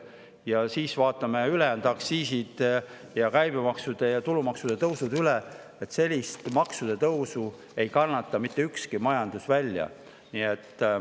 Ja siis vaatame üle aktsiiside, käibemaksu ja tulumaksu tõusud, sest sellist maksude tõusu ei kannata mitte ükski majandus välja.